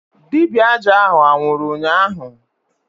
Dibịa aja ahụ anwụrụ ụnyaahụ?